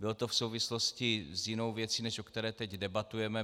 Bylo to v souvislosti s jinou věcí, než o které teď debatujeme.